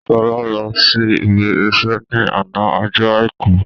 Sọlá lọ sí ibi iṣẹ́ ni àná ọjọ́ Àìkú